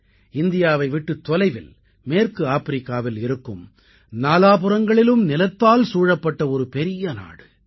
இந்தியாவை விட்டுத் தொலைவில் மேற்கு ஆப்பிரிக்காவில் இருக்கும் நாலாபுறங்களிலும் நிலத்தால் சூழப்பட்ட ஒரு பெரிய நாடு